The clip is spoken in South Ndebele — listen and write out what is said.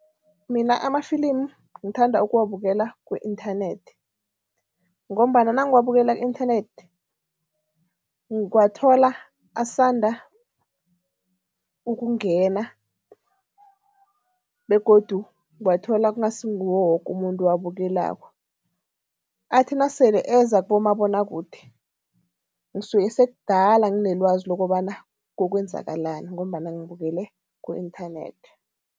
Mina amafilimu ngithanda ukuwabukela ku-nthanethi ngombana nangiwabukela ku-inthanethi, ngiwathola asanda ukungena begodu ngiwathola kungasinguwo woke umuntu owabukelako. Athi nasele eza kubomabonwakude, ngisuke sekudala nginelwazi lokobana kokwenzakalani ngombana ngibukele ku-inthanethi.